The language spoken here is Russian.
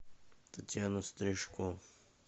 татьяна стрижко